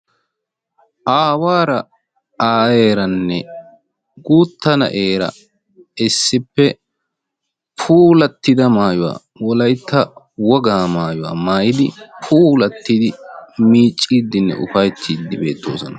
aawara, aayyeranne guutta naa'eera issippe puulatida maayyuwa Wolaytta woga maayyuwa maayyidi puulatidi miiccidinne upayttidi beettoosona.